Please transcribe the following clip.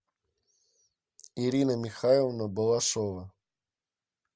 ирина михайловна балашова